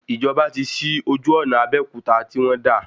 Ìjọba tí sí ojú ọ̀nà Abéòkúta tí wọ́n dà